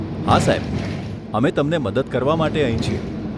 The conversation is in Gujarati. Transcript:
હા સાહેબ, અમે તમને મદદ કરવા માટે અહીં છીએ.